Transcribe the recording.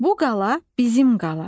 Bu qala bizim qala.